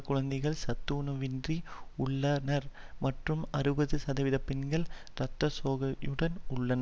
குழந்தைகள் சத்துணவின்றி உள்ளானர் மற்றும் அறுபது சதவீத பெண்கள் இரத்த சோகையுடன் உள்ளனர்